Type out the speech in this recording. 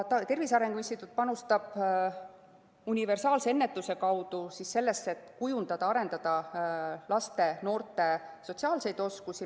Tervise Arengu Instituut panustab universaalse ennetuse kaudu sellesse, et kujundada ja arendada laste ja noorte sotsiaalseid oskusi.